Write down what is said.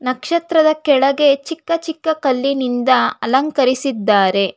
ನಕ್ಷತ್ರದ ಕೆಳಗೆ ಚಿಕ್ಕ ಚಿಕ್ಕ ಕಲ್ಲಿನಿಂದ ಅಲಂಕರಿಸಿದ್ದಾರೆ.